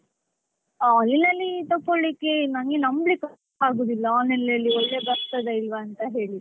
online ಅಲ್ಲಿ ತೊಕೊಳ್ಲಿಕೆ ನಂಗೆ ನಂಬ್ಲಿಕ್ ಆಗೋದಿಲ್ಲ online ಅಲ್ಲಿ ಒಳ್ಳೇ ಬರ್ತದ ಇಲ್ವಾ ಅಂತ ಹೇಳಿ.